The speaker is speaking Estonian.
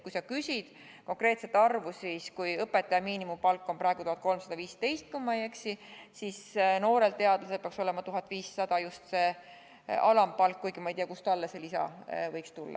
Kui sa küsid konkreetset arvu, siis ma ütleksin nii: kui õpetaja miinimumpalk on praegu vist 1315, siis noore teadlase palk peaks olema 1500 eurot, just see alampalk, kuigi ma ei tea, kust talle see lisa võiks tulla.